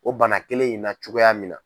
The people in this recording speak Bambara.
O bana kelen in na cogoya min na.